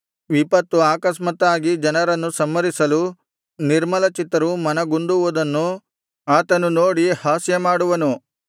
ವಿಪತ್ತು ಆಕಸ್ಮಾತ್ತಾಗಿ ಜನರನ್ನು ಸಂಹರಿಸಲು ನಿರ್ಮಲಚಿತ್ತರು ಮನಗುಂದುವುದನ್ನು ಆತನು ನೋಡಿ ಹಾಸ್ಯಮಾಡುವನು